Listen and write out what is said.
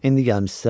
İndi gəlmisiniz?